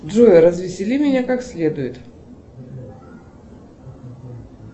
джой развесели меня как следует